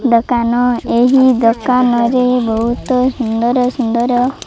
ଦୋକାନ ଏହି ଦୋକାନ ରେ ବହୁତ୍ ସୁନ୍ଦର ସୁନ୍ଦର --